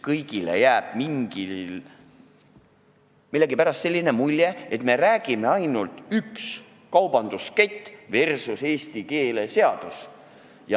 Kõigile on jäänud millegipärast selline mulje, et me räägime ainult teemal "üks kaubanduskett versus keeleseadus".